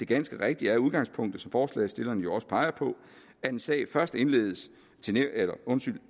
ganske rigtigt at udgangspunktet som forslagsstillerne jo også rigtigt peger på er at en sag først indsendes